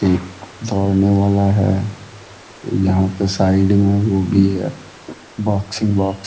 एक दौड़ने वाला है। यहाँ पे साइड में वो भी है बॉक्सिंग बॉक्स ।